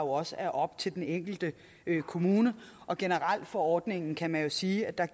også er op til den enkelte kommune generelt for ordningen kan man jo sige at